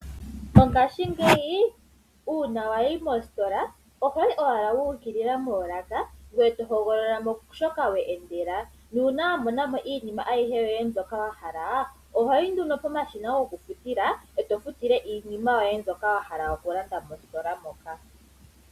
Mongashingeyi uuna wayi mositola ohoyi owala wu ukilila moolaka ngoye to hogolola mo shoka we endela. Nuuna wa mona mo iinima ayihe yoye mbyoka wa hala ohoyi nduno pomashina gokufutila eto futile iinima yoye mbyoka wa hala okulanda mositola moka.